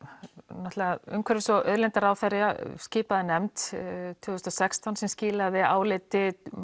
náttúrulega umhverfis og auðlindaráðherra skipaði nefnd tvö þúsund og sextán sem skilaði áliti